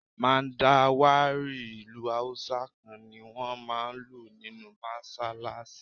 Mandawari ìlù Hausa kan ni wón máa ń lù nínú Mọ́ṣálásí.